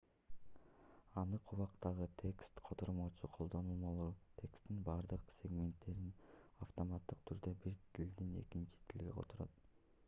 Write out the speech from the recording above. анык убакыттагы текст котормочу колдонмолору тексттин бардык сегменттерин автоматтык түрдө бир тилден экинчи тилге которот